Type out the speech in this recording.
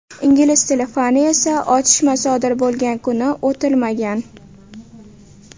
Ingliz tili fani esa otishma sodir bo‘lgan kuni o‘tilmagan.